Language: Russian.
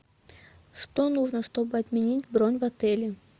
что нужно чтобы отменить бронь в отеле